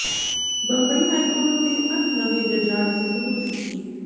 Bombay high court ਦੇ ਅੱਠ ਨਵੇਂ ਜੱਜਾਂ ਨੇ ਸਹੁੰ ਚੁੱਕੀ